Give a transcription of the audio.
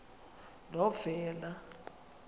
novena